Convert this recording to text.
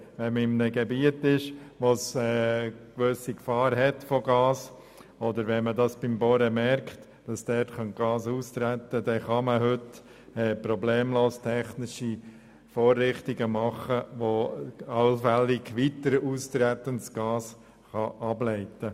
Wenn man in einem Gebiet bohrt, wo eine Gefahr besteht, oder wenn man beim Bohren bemerkt, dass Gas austreten könnte, lassen sich heute problemlos technische Vorrichtungen einsetzen, die allfällig weiter austretendes Gas ableiten.